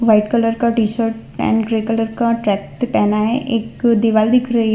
White colour का T-shirt and grey colour का track पहना है एक दीवाल दिख रही है।